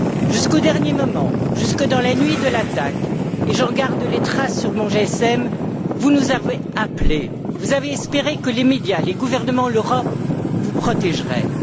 Jusqu'au dernier moment, jusque dans la nuit de l'attaque et j'en garde les traces sur mon GSM vous nous avez appelés, vous avez espéré que les médias, les gouvernements, l'Europe, vous protégeraient.